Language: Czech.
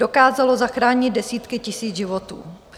Dokázalo zachránit desítky tisíc životů.